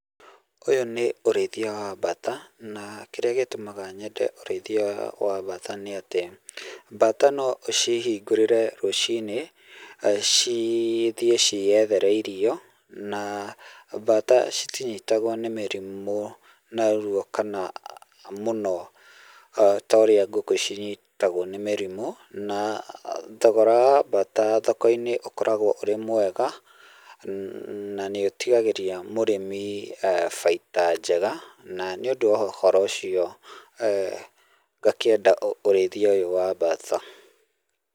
Ũyũ nĩ ũrĩithia wa mbata na kĩrĩa gĩtũmaga nyende ũrĩithia wa mbata nĩatĩ, mbata noũcihingũrĩre rũciinĩ cithiĩ ciyethere irio na mbata citinyitagwo nĩ mĩrimũ narua kana mũno ta ũrĩa ngũkũ cinyitagwo nĩ mĩrimũ, na thogora wa mbata thoko-inĩ ũkoragwo ũrĩ mwega na nĩũtigagĩria mũrĩmi bainda njega na nĩ ũndũ wa ũhoro ũcio eeh ngakĩenda ũrĩithia ũyũ wa mbata.